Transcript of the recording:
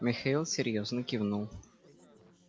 михаил серьёзно кивнул